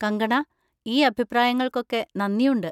കങ്കണാ, ഈ അഭിപ്രായങ്ങൾക്കൊക്കെ നന്ദിയുണ്ട്.